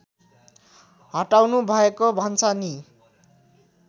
हटाउनु भएको भन्छ नि